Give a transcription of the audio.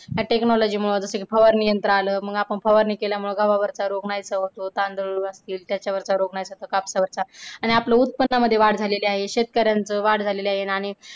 technology मुळे फवारणी यंत्र आलं मग आपण फवारणी केल्यामुळे गव्हा वरचा रोग नाहीसा होतो l तांदळाला कीड त्याचा वरचा रोग नाहीसा होतो कापसावरचा आणि आपल्या उत्पन्नामध्ये वाढ झालेली आहे आणि शेतकऱ्यांची वाढ झालेली आहे. आणि